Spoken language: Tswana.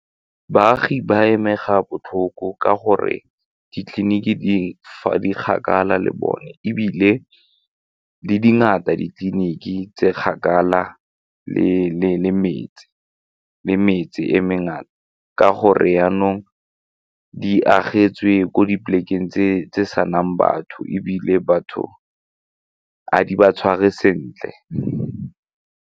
Baagi ba amega botlhoko ka gore ditleliniki di kgakala le bone ebile le di dingata ditleliniki tse kgakala le metse, le metse e mengata ka gore jaanong di amogetswe ko dipolekeng tse senang batho ebile batho ga di ba tshware sentle.